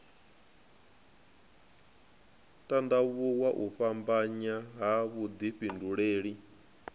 tandavhuwa u fhambanya ha vhudifhinduleli